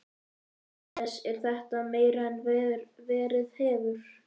Jóhannes: Er þetta meira en verið hefur?